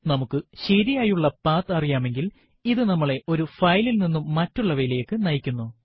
നമുക്ക് ശരിയായുള്ള പത്ത് അറിയാമെങ്കിൽ ഇത് നമ്മളെ ഒരു ഫയലിൽ നിന്നും മറ്റുള്ളവയിലേക്കു നയിക്കുന്നു